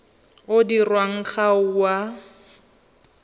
o dirwang ga o a